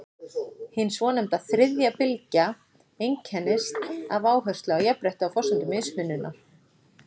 hin svonefnda „þriðja bylgja“ einkennist af áherslu á jafnrétti á forsendum mismunar